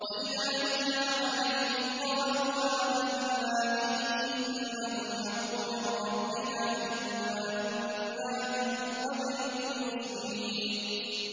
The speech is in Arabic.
وَإِذَا يُتْلَىٰ عَلَيْهِمْ قَالُوا آمَنَّا بِهِ إِنَّهُ الْحَقُّ مِن رَّبِّنَا إِنَّا كُنَّا مِن قَبْلِهِ مُسْلِمِينَ